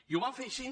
i ho vam fer així